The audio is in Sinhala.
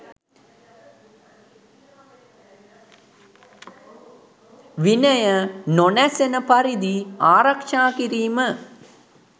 විනය නොනැසෙන පරිදි ආරක්ෂා කිරීම